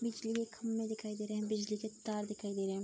बिजली के खम्बे दिखाई दे रहे हैं बिजली के तार दिखाई दे रहे हैं।